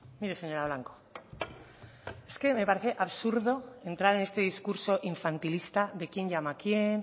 mire señora blanco es que me parece absurdo entrar en este discurso infantilista de quién llama a quién